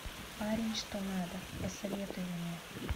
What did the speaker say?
парень что надо посоветуй мне